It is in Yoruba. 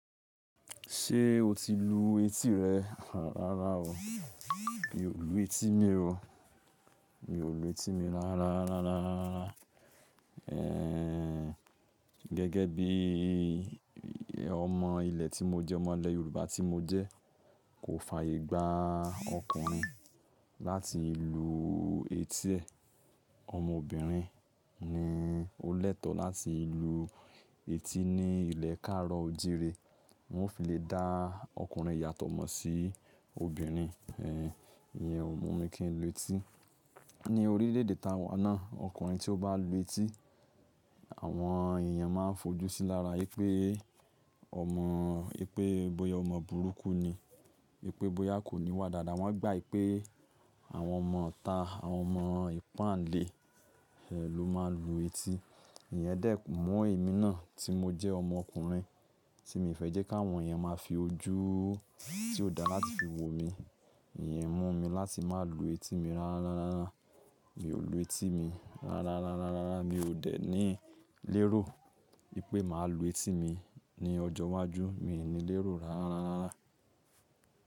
Ṣé o ti lu etí rẹ? Rárá o, mi ò lu etí mi o. Mi ò lu etí mi rárá, gẹ́gẹ́ bí ọmọ ilẹ̀ tí mo jẹ́, ọmọ ilẹ̀ Yorùbá tí mo jẹ́, kò fàyè gba ọkùnrin láti lu etí ẹ̀. Ọmọ obìnrin ni ó lẹ́tọ̀ láti lu etí ní ilẹ̀ káaro òjìré. Wọ́n o fi lè dá ọkùnrin yàtọ̀ mọ́ sí obìnrin. Iyẹn o mú mi kí n lu etí. Ni orílẹ̀-èdè ta wa náà, ọkùnrin tí ó bá lu etí, àwọn èèyàn máa fojú sí i lára ipé, omo bóyá ọmọ burúkú ni, wipe bóyá kò níwà dáadáa. Wọ́n gbà pé àwọn ọmọ ita, àwọn ọmọ ìpáǹle ló máa ń lu etí. Iyẹn dẹ́ mọ́ èmi náà tí mo jẹ́ ọmọkùnrin, tí mi fẹ́ jẹ́ kí àwọn èèyàn máa fi ojú tí ó dáa láti fi wo mi. Ẹ̀yẹn mú mi láti má lu etí mi rárá. Mi ò lu etí mi rárá. Mi ò dẹ̀ ní lérò wipé màá lu etí mi ní ọjọ́ iwájú. Mi ò ní lérò rárárara.